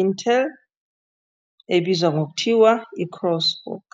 Intel, Crosswalk.